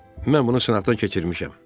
Mən bunu sınaxdan keçirmişəm.